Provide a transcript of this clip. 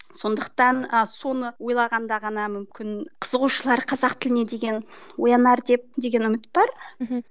сондықтан ы соны ойлағанда ғана мүмкін қызығушылар қазақ тіліне деген оянар деп деген үміт бар мхм